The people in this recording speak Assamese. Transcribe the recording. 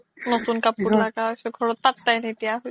নতুন কাপোৰ লাগা হৈছে ঘৰত পাত্তা নিদিয়া হৈছে